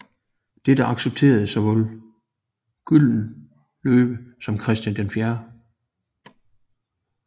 Dette accepterede såvel Gyldenløve som Christian 4